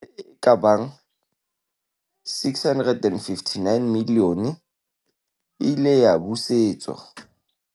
Tjhelete e ka bang R659 milione e ile ya busetswa